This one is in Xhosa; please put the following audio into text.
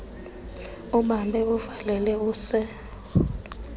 ubambe uvalele use